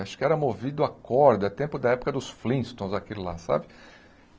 Acho que era movido à corda, é tempo da época dos flintstones, aquilo lá, sabe?